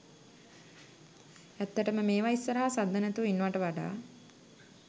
ඇත්තටම මේව ඉස්සරහ සද්ද නැතුව ඉන්නවට වඩා